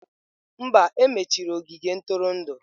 Mba, e mechiri ogige ntụrụndụ.